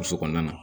Muso kɔnɔna na